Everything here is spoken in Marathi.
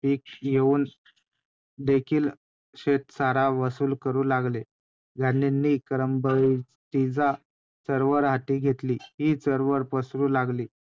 आणि मग ते धर्माच्या नावाखाली त्या गोष्टींना म्हटलं जायचं की ते पुरातन वेदान मध्ये लिहीलं. पुरातन ग्रंथामध्ये लिहीलं. पण अशा काही गोष्टी नव्हत्याच .